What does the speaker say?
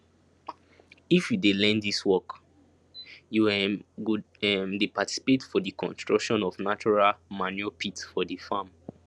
if you dey learn dis work you um go um dey participate for di construction of natural manure pit for di farm